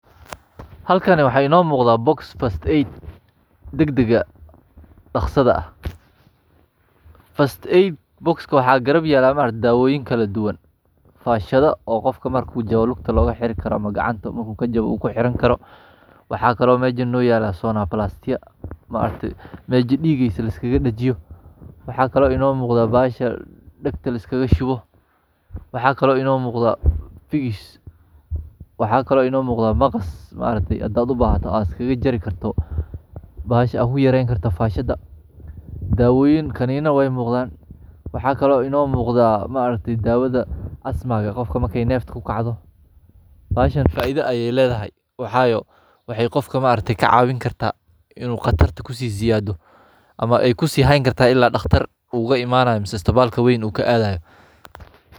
Halkan waxey no muqda box past eight dagdag ah dakhsada ah.past 8 box waxa garab yela maaragti daawoyin kaladuwan fahshadha oo qofka maaragti lugta logaheri Karo ama gacanta marku kajaba oo kuherani Karo. Waxa Kalo mesha noyela sonaplastya maaragti hajdiigiisa liskigadijiyo, waxakale ino muqda bahasha degta liskigashuba. Waxa kale ino muqda fixis waxa kale ino muqda maqas maaragti hdad ubahata ad kagajari Karto bahasha ad uyareyni Karta fashada. Daawooyin kanina way muqdan waxakale ino muqda maaragti dawadha asmaga qofka markay nefta kugacdo. bahashadhan faidha ayay ledhahay waxayo waxey qofka maaragti kacawini karta inuu qatarta kusiziyado ama ay kusihayni karta ila daqtar ugu imanaya ispatalka wein u kaadhaya.